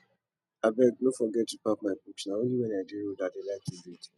abeg no forget to pack my books na only wen i dey road i dey like to read